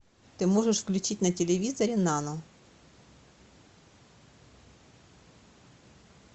ты можешь включить на телевизоре нано